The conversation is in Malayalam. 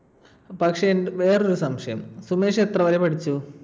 പക്ഷെ എന്റെ ~ വേറൊരു സംശയം. സുമേഷ് എത്ര വരെ പഠിച്ചു?